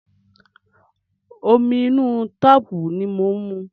Omi inú táàpù ni ó ń mu.